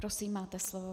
Prosím, máte slovo.